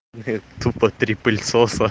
тупо три пыльцоса